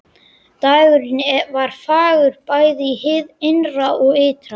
Dagurinn var fagur bæði hið innra og ytra.